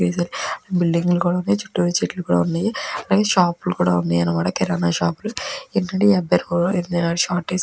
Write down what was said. వెళ్తు బిల్డింగ్ లు కూడ ఉన్నాయి. చుట్టు చెట్లు కూడ ఉన్నాయి. అలాగే షాప్ లు కూడ ఉన్నాయి. అంటే కిరాణా షాప్ లు. ఏంటి అంటే ఈ అబ్బాయి రోడ్ మీద షార్ట్ వేసుకుని --